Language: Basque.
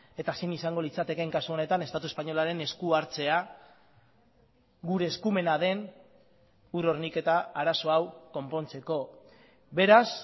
eta zein izango litzatekeen kasu honetan estatu espainolaren esku hartzea gure eskumena den ur horniketa arazo hau konpontzeko beraz